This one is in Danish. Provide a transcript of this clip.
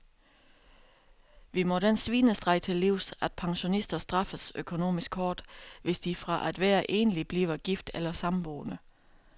Vi må den svinestreg til livs, at pensionister straffes økonomisk hårdt, hvis de fra at være enlig bliver gift eller samboende.